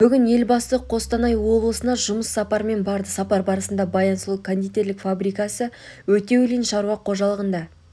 бүгін елбасы қостана облысына жұмыс сапарымен барды сапар барысында баян сұлу кондитерлік фабрикасы өтеулин шаруа қожалығында